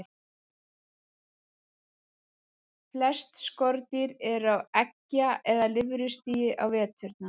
Flest skordýr eru á eggja- eða lirfustigi á veturna.